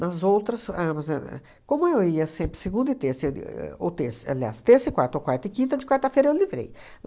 Nas outras, a como eu ia sempre segunda e terça, e ou terça, aliás, terça e quarta, ou quarta e quinta, de quarta-feira eu livrei.